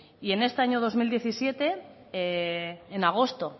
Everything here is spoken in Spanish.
y en este año dos mil diecisiete en agosto